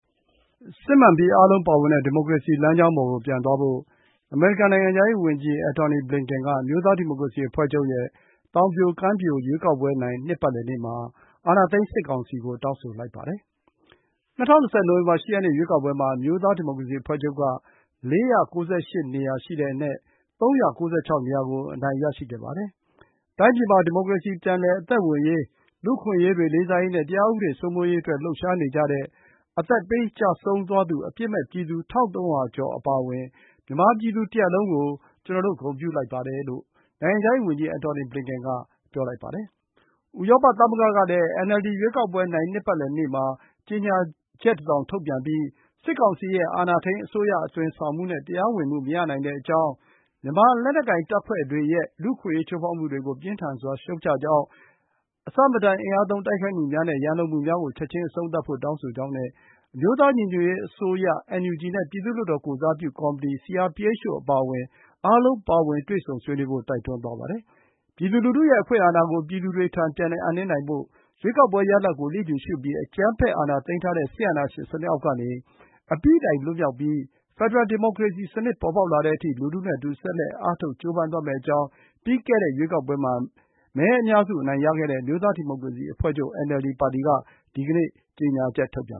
“စစ်မှန်ပြီး အားလုံးပါဝင်တဲ့ ဒီမိုကရေစီ” လမ်းကြောင်းပေါ်ကို ပြန်သွားဖို့ အမေရိကန် နိုင်ငံခြားရေးဝန်ကြီး Antony Blinken က အမျိုးသားဒီမိုကရေစီအဖွဲ့ချုပ်ရဲ့ သောင်ပြိုကမ်းပြို ရွေးကောက်ပွဲနိုင် နှစ်ပတ်လည်နေ့မှာ အာဏာသိမ်းစစ်ကောင်စီကို တောင်းဆိုလိုက်ပါတယ်။ ၂၀၂၀ နိုဝင်ဘာ ၈ ရက်နေ့ ရွေးကောက်ပွဲမှာ အမျိုးသားဒီမိုကရေစီအဖွဲ့ချုပ်က ၄၉၈ နေရာအနက် ၃၉၆ နေရာကို အနိုင်ရရှိခဲ့ပါတယ်။ “တိုင်းပြည်မှာ ဒီမိုကရေစီ ပြန်လည်အသက်ဝင်ရေး၊ လူ့အခွင့်အရေးတွေ လေးစားရေးနဲ့ တရားဥပဒေ စိုးမိုးရေးအတွက် လှုပ်ရှားနေကြတဲ့ အသက်ပေး ကျဆုံးသွားသူ အပြစ်မဲ့ပြည်သူ ၁,၃၀၀ ကျော် အပါအဝင် မြန်မာပြည်သူ တရပ်လုံးကို ကျနော်တို့ ဂုဏ်ပြုလိုက်ပါတယ်။” လို့ နိုင်ငံခြားရေးဝန်ကြီး Antony Blinken က ပြောပါတယ်။ ဥရောပသမဂ္ဂကလည်း NLD ရွေးကောက်ပွဲနိုင် နှစ်ပတ်လည်နေ့မှာ ကြေညာချက်တစောင် ထုတ်ပြန်ပြီး စစ်ကောင်စီရဲ့ အာဏာထိန်းအစိုးရ အသွင်ဆောင်မှုနဲ့ တရားဝင်မှု မရနိုင်ကြောင်း၊ မြန်မာလက်နက်ကိုင် တပ်ဖွဲ့တွေရဲ့ လူ့အခွင့်အရေး ချိုးဖောက်မှုတွေကို ပြင်းထန်စွာ ရှုတ်ချကြောင်း၊ အဆမတန် အင်အားသုံး တိုက်ခိုက်မှုများနဲ့ ရန်လိုမှုများကို ချက်ချင်း အဆုံးသတ်ဖို့ တောင်းဆိုကြောင်းနဲ့ အမျိုးသားညီညွတ်ရေးအစိုးရ (NUG) နဲ့ ပြည်သူ့လွှတ်တော် ကိုယ်စားပြုကော်မတီ (CRPH) တို့ အပါအဝင် အားလုံးပါဝင် တွေ့ဆုံဆွေးနွေးဖို့ တိုက်တွန်းသွားပါတယ်။ ပြည်သူလူထုရဲ့ အခွင့်အာဏာကို ပြည်သူတွေထံ ပြန်လည်အပ်နှင်းနိုင်ဖို့နဲ့ ရွေးကောက်ပွဲရလဒ်ကို လျစ်လျူရှုပြီး အကြမ်းဖက် အာဏာသိမ်းထားတဲ့ စစ်အာဏာရှင်စနစ် အောက်ကနေ အပြီးတိုင်လွတ်မြောက်ပြီး ဖက်ဒရယ် ဒီမိုကရေစီစနစ် ပေါ်ပေါက်လာတဲ့အထိ လူထုနဲ့အတူ ဆက်လက်အားထုတ် ကြိုးပမ်းသွားမယ့်အကြောင်း ပြီးခဲ့တဲ့ ရွေးကောက်ပွဲမှာ မဲအများစု အနိုင်ရခဲ့တဲ့ အမျိုးသားဒီမိုကရေစီအဖွဲ့ချုပ် (NLD) ပါတီက ဒီကနေ့ ကြေညာချက် ထုတ်ပြန်